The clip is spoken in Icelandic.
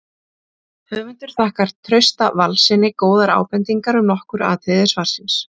Höfundur þakkar Trausta Valssyni góðar ábendingar um nokkur atriði svarsins.